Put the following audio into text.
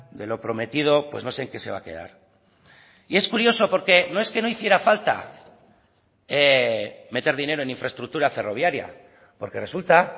de lo prometido pues no sé en qué se va a quedar y es curioso porque no es que no hiciera falta meter dinero en infraestructura ferroviaria porque resulta